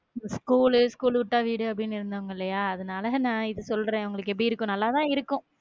இந்த school. School விட்டா வீடு அப்படின்னு இருந்தவங்க இல்லையா அதுனால நா இத சொல்றேன் உங்களுக்கு எப்படி இருக்கும் நல்லாதான் இருக்கும்